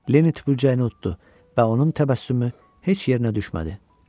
Leni tüpürcəyini uddu və onun təbəssümü heç yerinə düşmədi.